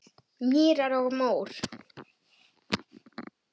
Mýrar og mór